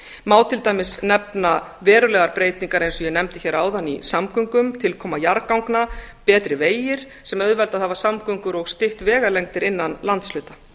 má til dæmis nefna verulegar breytingar eins og ég nefndi hér áðan í samgöngum tilkoma jarðganga betri vegir sem auðveldað hafa samgöngur og stytt vegalengdir innan landshluta